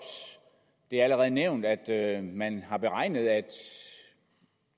det er allerede nævnt at man har beregnet at